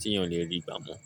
tí èèyàn lè rí i gbá mọ́.